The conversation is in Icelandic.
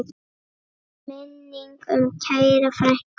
Minning um kæra frænku lifir.